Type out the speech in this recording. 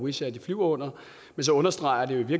wizz air flyver under så understreger det i